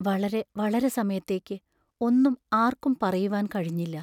വളരെ വളരെ സമയത്തേക്ക് ഒന്നും ആർക്കും പറയുവാൻ കഴിഞ്ഞില്ല.